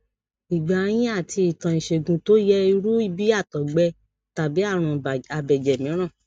ìgbà yín àti ìtàn ìṣègùn tó yẹ irú bí àtògbẹ tàbí àrùn abẹjẹ mìíràn